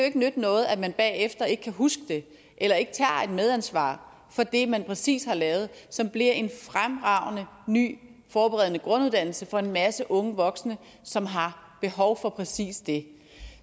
ikke nytte noget at man bagefter ikke kan huske det eller ikke tager et medansvar for det man præcis har lavet som bliver en fremragende ny forberedende grunduddannelse for en masse unge voksne som har behov for præcis det